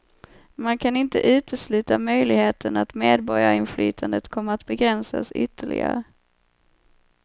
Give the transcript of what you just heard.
Man kan inte utesluta möjligheten att medborgarinflytandet kommer att begränsas ytterligare.